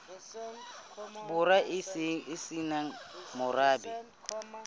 borwa e se nang morabe